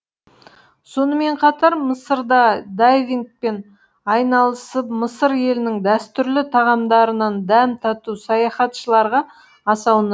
сонымен қатар мысырда дайвингпен айналысып мысыр елінің дәстүрлі тағамдарынан дәм тату саяхатшыларға аса